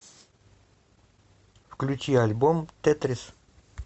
включи альбом тетрис